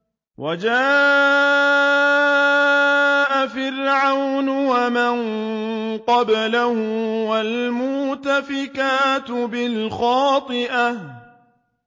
وَجَاءَ فِرْعَوْنُ وَمَن قَبْلَهُ وَالْمُؤْتَفِكَاتُ بِالْخَاطِئَةِ